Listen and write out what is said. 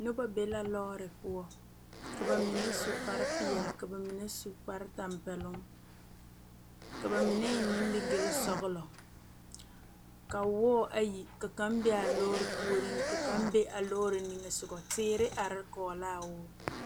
Noba be la lɔɔre poɔ ka ba mine su kpar peɛle ka ba mine su kpar tɛmpɛloŋ ka ba mine eŋ nimigele sɔgelɔ ka wɔɔ ayi ka kaŋ be a lɔɔre puoriŋ ka be a lɔɔre nimisoga kyɛ ka teere are kɔge laa wɔɔ